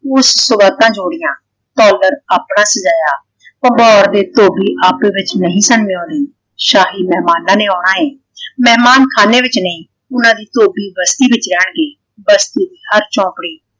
ਉਸ ਸੌਗਾਤਾਂ ਜੌੜੀਆਂ । ਧੌਲਦਨ ਆਪਣਾਂ ਸਜਾਇਆ ਭੰਬੋਰ ਦੇ ਧੋਬੀ ਆਪੇ ਵਿੱਚ ਨਹੀਂ ਸਨ ਆਉਂਦੇ ਸ਼ਾਹੀ ਮਹਿਮਾਨਾਂ ਨੇ ਆਉਣਾ ਹੈ। ਮਹਿਮਾਨ ਖਾਨੇ ਵਿੱਚ ਨਹੀਂ ਉਹਨਾਂ ਦੀ ਧੋਬੀ ਬਸਤੀ ਵਿੱਚ ਰਹਿਣਗੇ ਬਸਤੀ ਹਰ ਚੌਂਕੜੀ